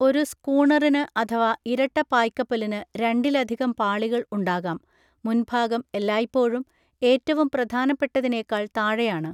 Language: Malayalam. ഒരു സ്കൂണറിന് അഥവാ ഇരട്ട പായ്കപ്പലിനു രണ്ടിലധികം പാളികൾ ഉണ്ടാകാം, മുൻഭാഗം എല്ലായ്പ്പോഴും ഏറ്റവും പ്രധാനപ്പെട്ടതിനേക്കാൾ താഴെയാണ്.